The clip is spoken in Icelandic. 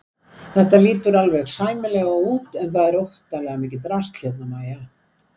Þetta lítur alveg sæmilega út en það er óttalega mikið drasl hérna MÆJA!